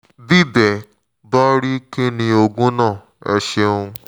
bí bẹ́ẹ̀ bá rí kí ni oògùn náà? ẹ ṣeun